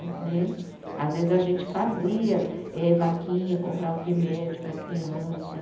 Né. Às vezes a gente fazia eh vaquinha, comprava o remédio para a criança.